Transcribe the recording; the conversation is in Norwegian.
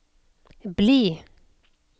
bli